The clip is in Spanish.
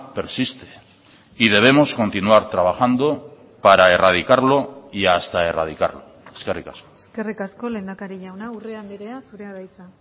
persiste y debemos continuar trabajando para erradicarlo y hasta erradicarlo eskerrik asko eskerrik asko lehendakari jauna urrea andrea zurea da hitza